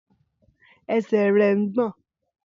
Ẹsẹ̀ rẹ̀ ń gbọ̀n.